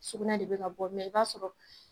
Sugunɛ de be ka bɔ mɛ i b'a sɔrɔ